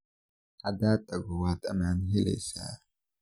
Hada tagto waad aman heleysa.